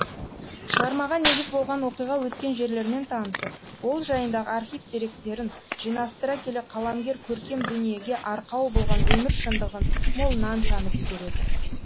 шығармаға негіз болған оқиға өткен жерлермен танысып ол жайындағы архив деректерін жинастыра келе қаламгер көркем дүниеге арқау болған өмір шындығын молынан танып игереді